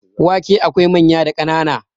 wake akwai manya da kanan